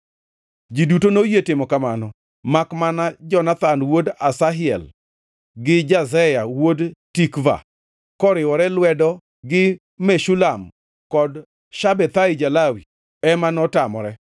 Ji duto noyie timo kamano, makmana Jonathan wuod Asahel gi Jazeya wuod Tikva, koriwe lwedo gi Meshulam kod Shabethai ja-Lawi, ema notamore.